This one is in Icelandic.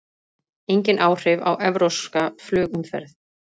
Engin áhrif á evrópska flugumferð